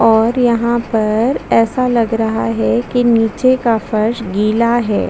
और यहाँ पर ऐसा लग रहा है की निचे की फर्श गीला है।